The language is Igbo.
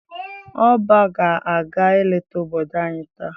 ỌBÁ ga aga-eleta obodo anyi taa.